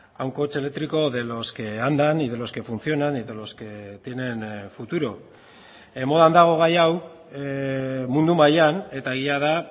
a un coche eléctrico de los que andan y de los que funcionan y de los que tienen futuro modan dago gai hau mundu mailan eta egia da